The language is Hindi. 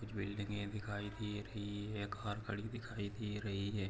कुछ बिल्डिंगे दिखाई दे रही है कार खड़ी दिखाई दे रही है।